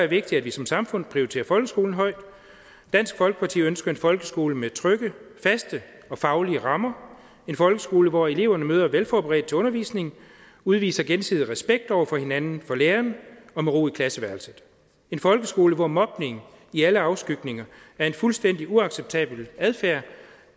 vigtigt at vi som samfund prioriterer folkeskolen højt dansk folkeparti ønsker en folkeskole med trygge faste og faglige rammer en folkeskole hvor eleverne møder velforberedt op til undervisningen udviser gensidig respekt over for hinanden og lærerne og med ro i klasseværelset en folkeskole hvor mobning i alle afskygninger er en fuldstændig uacceptabel adfærd